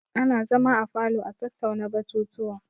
Ana zama a falo a tattauna batutuwa.